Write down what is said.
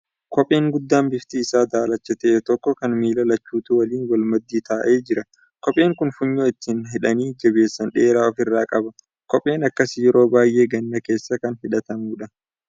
Kopheen guddaa bifti isaa daalacha ta'e tokko kan miila lachuutuu wal maddii taa'ee jira. kopheen kun funyoo ittin hidhanii jabeessan dheeraa of irraa qaba . kopheen akkasii yeroo baay'ee ganna keessa kan hidhatamuudha.